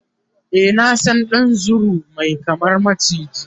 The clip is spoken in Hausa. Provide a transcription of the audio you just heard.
e na San ɗan zuru Mai kama maciji